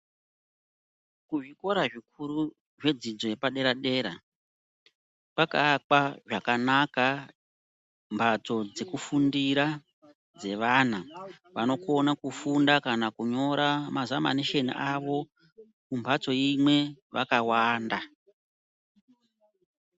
Kuzvikora zvikuru zvedzidzo yepadera dera kwakaakwa zvakanaka mhatso dzekufundira dzevana vanokona kufunda kana kunyora mazamanishoni avo mumbatso imwe vakawanda